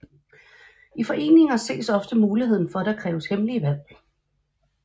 I foreninger ses ofte muligheden for at der kræves hemmelige valg